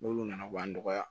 N'olu nana b'an nɔgɔya